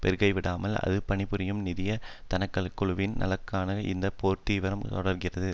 பொருட்படுத்தப்படாமல் அது பணிபுரியும் நிதிய தன்னலக்குழுவின் நலன்களுக்காக இந்த போர்த்தீவிரம் தொடர்கிறது